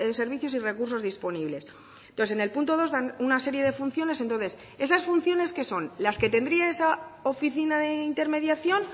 servicios y recursos disponibles entonces en el punto dos dan una serie de funciones entonces esas funciones qué son las que tendría esa oficina de intermediación